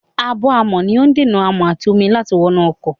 Ààbò-amọ̀ ni ó dènà amọ̀ àti omi láti wọnú ọkọ̀.